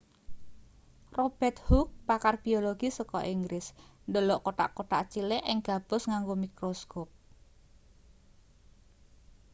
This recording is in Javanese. robert hooke pakar biologi saka inggris ndelok kothak-kothak cilik ing gabus nganggo mikroskop